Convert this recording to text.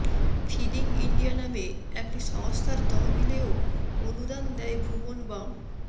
feeding India নামে একটি সংস্থার তহবিলেও অনুদান দেন ভুবন বাম